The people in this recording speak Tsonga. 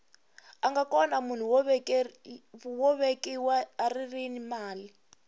anga kona munhu wo velekiwa arini mali